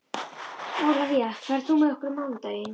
Ólafía, ferð þú með okkur á mánudaginn?